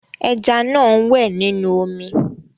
Ẹja náà ń wẹ̀ nínú omi.